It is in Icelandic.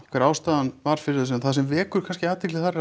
hver ástæðan var fyrir þessu en það sem vekur kannski athygli þar